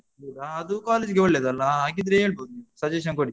ಹಾ ಅದು college ಗೆ ಒಳ್ಳೇದಲ್ಲಾ? ಹಾ ಹಾಗಿದ್ರೆ ಹೇಳ್ಬೋದ್ ನೀವು suggestion ಕೊಡಿ.